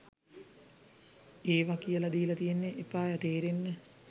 ඒව කියල දීල තියෙන්න එපායැ තේරෙන්න..